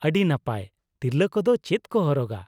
ᱟᱹᱰᱤ ᱱᱟᱯᱟᱭ ᱾ ᱛᱤᱨᱞᱟᱹ ᱠᱚᱫᱚ ᱪᱮᱫ ᱠᱚ ᱦᱚᱨᱚᱜᱟ ?